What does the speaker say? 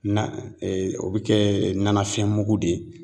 Na o bɛ kɛ na nafɛn mugu de ye